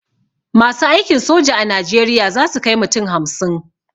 Masu aikin soja a najeriya zasu kai mutum hamsin